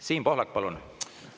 Siim Pohlak, palun!